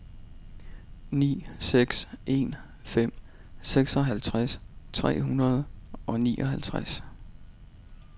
ni seks en fem seksoghalvtreds tre hundrede og nioghalvtreds